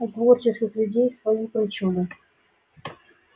у творческих людей свои причуды